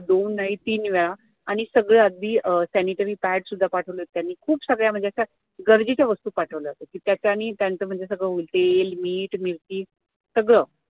दोन नाही तीन वेळा आणि सगळं अगदी अं sanitary pad सुद्धा पाठवले होते त्यांनी खूप सगळ्या म्हणजे गरजेच्या वस्तू पाठवल्या होत्या त्याच्यांनी त्यांचं म्हणजे सगळं तेल, मीठ, मिरची सगळं